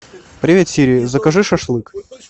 привет сири закажи шашлык